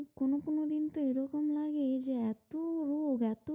কোন কোন দিন তো এরকম লাগে যে এত রোগ, এত,